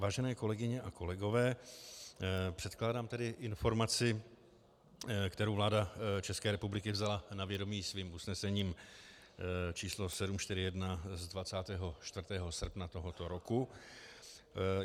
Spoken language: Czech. Vážené kolegyně a kolegové, předkládám tedy informaci, kterou vláda České republiky vzala na vědomí svým usnesením č. 741 z 24. srpna tohoto roku.